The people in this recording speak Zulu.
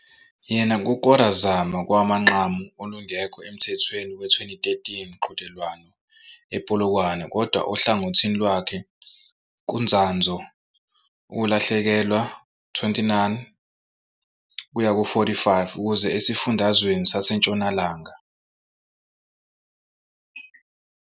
Yena kukora Zama kowamanqamu olungekho emthethweni we 2013 mqhudelwano ePolokwane, kodwa ohlangothini lwakhe kuntsandvo, ukulahlekelwa 29-45 ukuze eSifundazweni Sasentshonalanga.